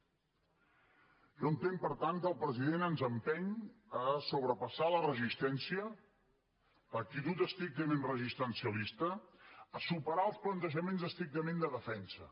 jo entenc per tant que el president ens empeny a sobrepassar la resistència l’actitud estrictament resistencialista a superar els plantejaments estrictament de defensa